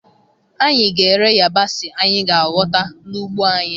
Anyị ga-ere yabasị anyị ga-ahọta n'ugbo anyị.